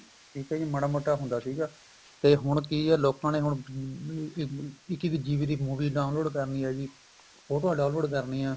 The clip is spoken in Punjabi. ਠੀਕ ਏ ਜੀ ਮਾੜਾ ਮੋਟਾ ਹੁੰਦਾ ਸੀਗਾ ਤੇ ਹੁਣ ਕੀ ਏ ਲੋਕਾ ਨੇ ਹੁਣ ਅਹ ਇੱਕ ਇੱਕ GB ਦੀ movie download ਕਰਨੀ ਏ ਜੀ ਫੋਟੋਆਂ download ਕਰਨੀ ਏ